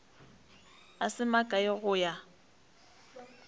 a se makae go ya